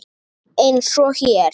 Eins og hér.